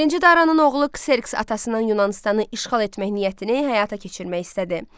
Birinci Daranın oğlu Kserks atasının Yunanıstanı işğal etmək niyyətini həyata keçirmək istədi.